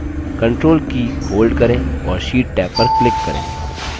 control की hold करें और sheet टैब पर click करें